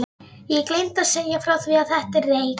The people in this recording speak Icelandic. Ég gleymi að segja frá því að þetta er reyk